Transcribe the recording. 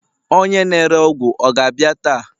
onye na-ere ọgwụ ọ ga-abịa taa?